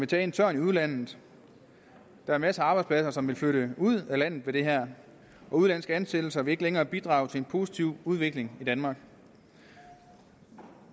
tage en tørn i udlandet der er masser af arbejdspladser som vil flytte ud af landet med det her og udenlandske ansættelser vil ikke længere bidrage til en positiv udvikling i danmark